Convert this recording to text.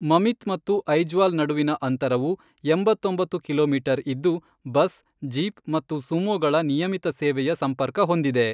ಮಮಿತ್ ಮತ್ತು ಐಜ್ವಾಲ್ ನಡುವಿನ ಅಂತರವು ಎಂಬತ್ತೊಂಬತ್ತು ಕಿಲೋಮೀಟರ್ ಇದ್ದು, ಬಸ್, ಜೀಪ್ ಮತ್ತು ಸುಮೋಗಳ ನಿಯಮಿತ ಸೇವೆಯ ಸಂಪರ್ಕ ಹೊಂದಿದೆ.